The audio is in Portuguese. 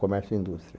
Comércio e Indústria.